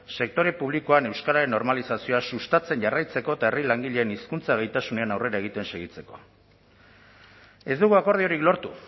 sektore publikoan euskararen normalizazioa sustatzen jarraitzeko eta herri langileen hizkuntza gaitasunean aurrera egiten segitzeko ez dugu akordiorik lortu